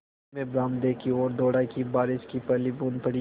मैं बरामदे की ओर दौड़ा कि बारिश की पहली बूँद पड़ी